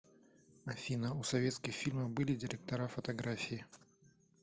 афина у советских фильмов были директора фотографии